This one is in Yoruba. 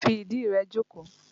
Fi ìdí rẹ jókòó!